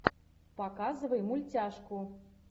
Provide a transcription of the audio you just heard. показывай мультяшку